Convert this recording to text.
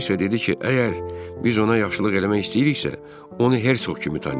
O isə dedi ki, əgər biz ona yaxşılıq eləmək istəyiriksə, onu Hersoq kimi tanıyaq.